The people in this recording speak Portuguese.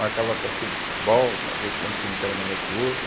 Marcava a partida de futebol para ver qual time que era melhor que o outro.